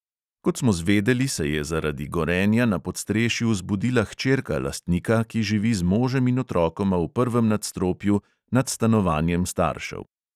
Kot smo zvedeli, se je zaradi gorenja na podstrešju zbudila hčerka lastnika, ki živi z možem in otrokoma v prvem nastropju, nad stanovanjem staršev.